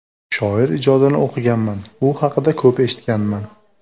Shoir ijodini o‘qiganman, u haqida ko‘p eshitganman.